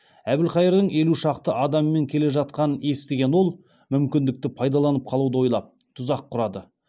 әбілқайырдың елу шақты адамымен келе жатқанын естіген ол мүмкіндікті пайдаланып қалуды ойлап тұзақ құрады